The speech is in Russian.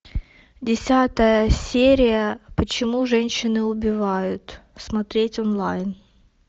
десятая серия почему женщины убивают смотреть онлайн